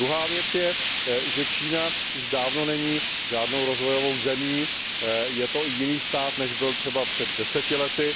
Druhá věc je, že Čína už dávno není žádnou rozvojovou zemí, je to jiný stát, než byl třeba před 10 lety.